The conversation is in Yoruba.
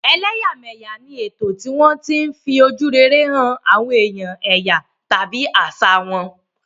Ẹ̀lẹ́yà mẹ̀yà ni ètò tí wọ́n tí ń fi ojú rere hàn àwọn èèyàn èyà tàbí àṣà wọn